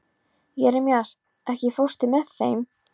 Jeremías, ekki fórstu með þeim?